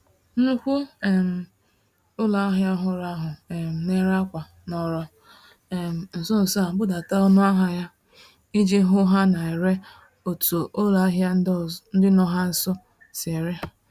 Nnukwu um ụlọahịa ọhụrụ ahụ um nèrè ákwà, nọrọ um nsonso a budata ọnụahịa ha, iji hụ ha na-ere otu ụlọahịa ndị nọ ha nso si ere.